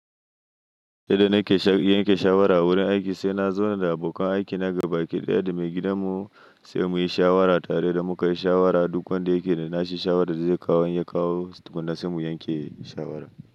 Yadda nake sha- yanke shawara a wurin aiki, sai na zauna da abokan aikina gabaki ɗaya da maigidanmu sai mu yi shawara tare idan mu kai shawara duk wanda yake da nashi shawara da zai kawo ya kawo tukunna sai mu yanke shawara.